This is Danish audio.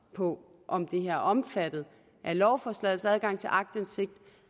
på om det her er omfattet af lovforslagets adgang til aktindsigt